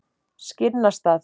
Skinnastað